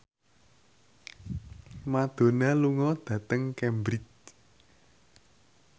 Madonna lunga dhateng Cambridge